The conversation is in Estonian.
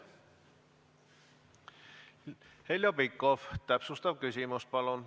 Heljo Pikhof, täpsustav küsimus, palun!